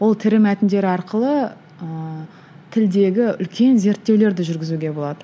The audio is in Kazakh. ол тірі мәтіндер арқылы ыыы тілдегі үлкен зерттеулерді жүргізуге болады